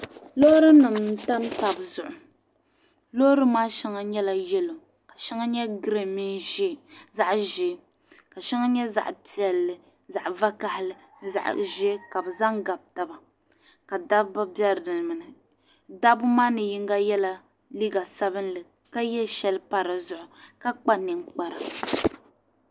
loorinima tam taba zuɣu loorinima shɛŋa nyɛla yɛlo ka shɛŋa nyɛ girin mini zaɣ' ʒee ka shɛŋa nyɛ zaɣ' piɛlli zaɣ' vakahili ni zaɣ' ʒee ka bɛ zaŋ gabi taba ka dabba be dinni dabba maa ni yiŋga yɛla liiga sabilinli ka ye shɛli pa di zuɣu ka kpa ninkpara